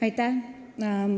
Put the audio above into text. Aitäh!